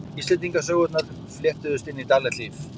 Íslendingasögurnar fléttuðust inn í daglegt líf.